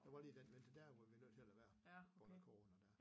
Der var lige den vinter dér hvor vi var nødt til at lade være på grund af corona ja